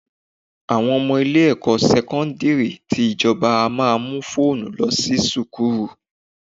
Àwọn ọmọ ilé-ẹ̀kọ́ sẹ́kọ́ńdìrì tí ìjọba a máa mú fóònù lọ sí sùkúrù.